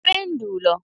Ipendulo,